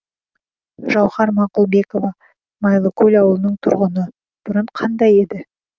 жауһар мақұлбекова майлыкөл ауылының тұрғыны бұрын қандай еді